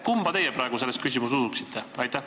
Kumba teie praegu selles küsimuses usuksite?